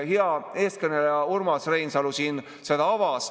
Hea eelkõneleja Urmas Reinsalu siin avas.